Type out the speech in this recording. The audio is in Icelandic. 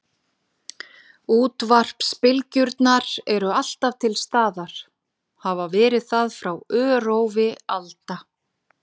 Útvarpsbylgjurnar eru alltaf til staðar, hafa verið það frá örófi alda.